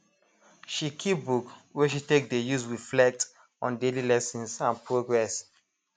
she keep book wey she take dey use reflect on daily lessons and progress